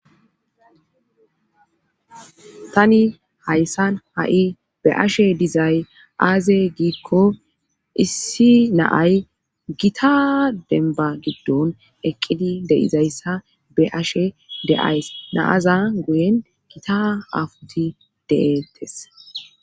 tani hayssan ha7i be'ashe dizay aaze giikko issi naay gita denba giddon eqqidi de'izayssa be'ashe de7ays naaza guyen gita afuti deeettes